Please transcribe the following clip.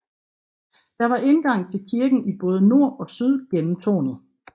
Der var indgang til kirken i både nord og syd gennem tårnet